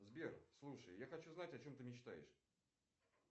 сбер слушай я хочу знать о чем ты мечтаешь